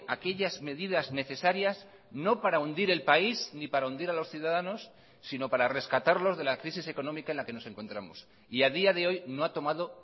aquellas medidas necesarias no para hundir el país ni para hundir a los ciudadanos sino para rescatarlos de la crisis económica en la que nos encontramos y a día de hoy no ha tomado